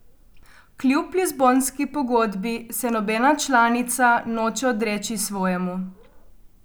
Kljub lizbonski pogodbi se nobena članica noče odreči svojemu.